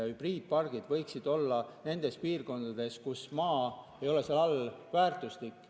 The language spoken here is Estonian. Hübriidpargid võiksid olla nendes piirkondades, kus maa ei ole kuigi väärtuslik.